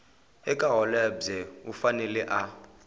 eka holobye u fanele a